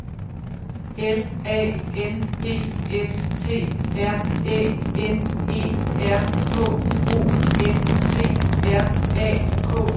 L A N D S T R Æ N E R K O N T R A K T E N